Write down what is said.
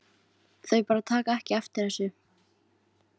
Þau bara taka ekki eftir þessu.